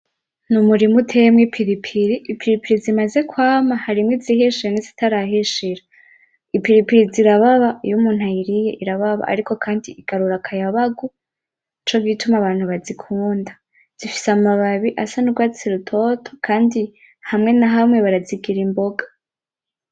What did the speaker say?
Ni umurima uteyemwo ipiripiri. Ipiripiri zimaze kwama harimwo izihishiye nizitarahishira, ipiripiri zirababa iyo muntu ayiriye irababa ariko kandi igarura akayabagu nico gituma abantu bazikunda zifise amababi asa n'urwatsi rutoto kandi hamwe na hamwe barazigira imboga.